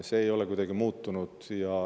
See ei ole kuidagi muutunud.